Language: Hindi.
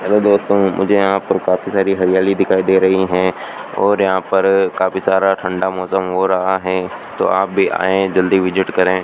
हेलो दोस्तों मुझे यहां पर काफी सारी हरियाली दिखाई दे रही हैं और यहां पर काफी सारा ठंडा मौसम हो रहा है तो आप भी आएं जल्दी विजिट करें।